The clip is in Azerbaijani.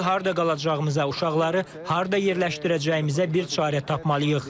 İndi harda qalacağımıza, uşaqları harda yerləşdirəcəyimizə bir çarə tapmalıyıq.